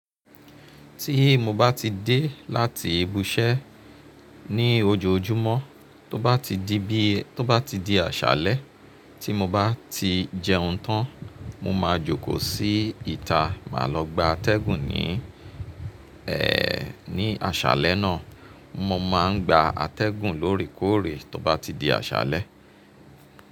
Tí mo bá ti dé láti ibi iṣẹ́ ní ojoojúmọ́, tó bá ti di bi, tó bá ti di àṣálẹ́ tí mo bá ti jẹun tán, mo máa jókòó sí ìta, màá lọ gba atẹ́gùn ní, ẹ́, ní àṣálẹ́ náà. Mo máa ń gba atẹ́gùn lórèkóòrè tó bá ti di àṣálẹ́.